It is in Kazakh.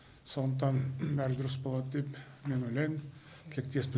сондықтан бәрі дұрыс болады деп мен ойлаймын тілектеспін